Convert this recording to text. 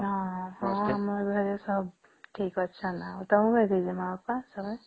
ହଁ ହଁ ସମ ଘରେ ସବୁ ଠିକ ଅଛ ନ ତମ ର ଘରେ ଅଛ ନ